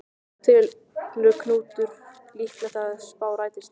En telur Knútur líklegt að þessi spá rætist?